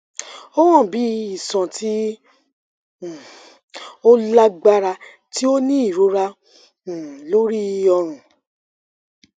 o han bi iṣan ti um o lagbara ti o ni irora um lori ọrun